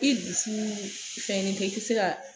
I dusu fɛnnen tɛ, i te se ka